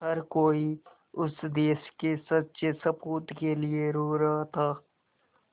हर कोई उस देश के सच्चे सपूत के लिए रो रहा था